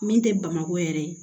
Min tɛ bamakɔ yɛrɛ ye